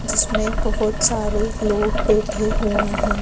जिसमें बहुत सारे लोग बैठे हुए हैं।